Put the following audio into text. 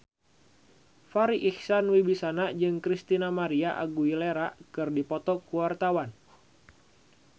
Farri Icksan Wibisana jeung Christina María Aguilera keur dipoto ku wartawan